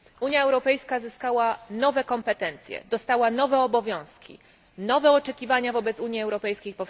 Unia Europejska zyskała nowe kompetencje, dostała nowe obowiązki, powstały nowe oczekiwania wobec Unii Europejskiej.